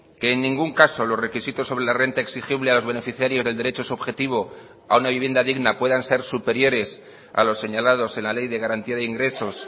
que en ningún caso los requisitos sobre la renta exigible a los beneficiarios del derecho subjetivo a una vivienda digna puedan ser superiores a los señalados en la ley de garantía de ingresos